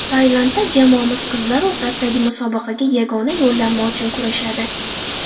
Tailandda jamoamiz qizlar o‘rtasidagi musobaqaga yagona yo‘llanma uchun kurashadi.